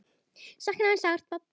Sakna þín sárt.